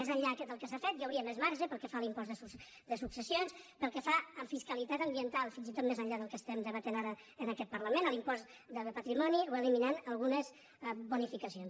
més enllà del que s’ha fet hi hauria més marge pel que fa a l’impost de successions pel que fa a fiscalitat ambiental fins i tot més enllà del que es·tem debatent ara en aquest parlament l’impost de patrimoni o eliminant algunes bonificacions